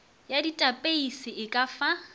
ya datapeise e ka fa